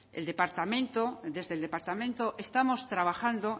desde el departamento estamos trabajando